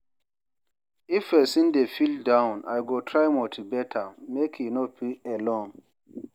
If person dey feel down, I go try motivate am, make e no feel alone.